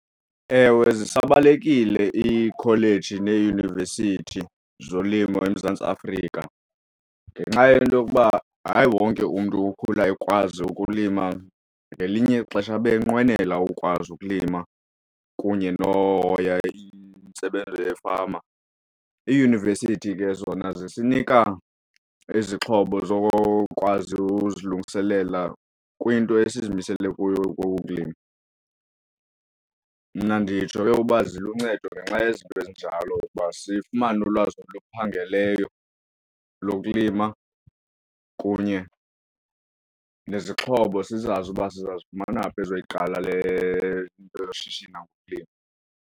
Ewe, zisabalulekile iikholeji neeyunivesithi zolimo eMzantsi Afrika ngenxa yento yokuba hayi wonke umntu ukhula ekwazi ukulima. Ngelinye ixesha abe enqwenela ukwazi ukulima kunye nohoya intsebenzo yefama. Iiyunivesithi ke zona zisinika izixhobo zokwazi uzilungiselela kwinto esizimisele kuyo kokulima. Mna nditsho ke uba ziluncedo ngenxa yezinto ezinjalo ukuba sifumane ulwazi oluphangeleyo lokulima kunye nezixhobo sizazi uba sizazifumana phi ezoyiqala le nto yoshishina ngokulima.